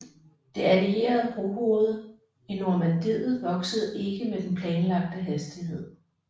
Det allierede brohoved i Normandiet voksede ikke med den planlagte hastighed